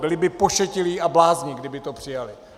Byli by pošetilí a blázni, kdyby to přijali.